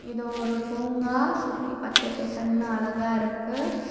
இது ஒரு பூங்கா சுத்தி பச்ச பசேல்னு அழகா இருக்கு.